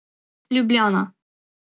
Ljubljana.